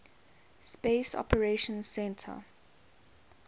space operations centre